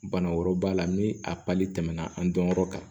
Bana wɛrɛw b'a la ni a pali tɛmɛna an dɔnyɔrɔ kan